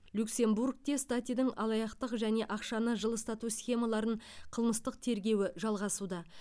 люксембургте статидің алаяқтық және ақшаны жылыстату схемаларын қылмыстық тергеуі жалғасуда